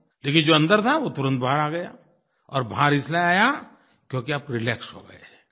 लेकिन जो अंदर था तुरंत बाहर आ गया और बाहर इसलिये आया क्योंकि आप रिलैक्स हो गए